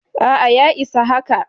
A'a ya isa haka.